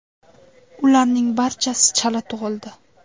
Ularning barchasi chala tug‘ildi.